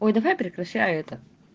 ой давай прекращай это